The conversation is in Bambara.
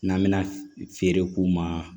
N'an bɛna feere k'u ma